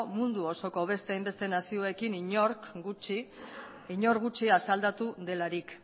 mundu osoko beste hainbeste nazioekin inor gutxi asaldatu delarik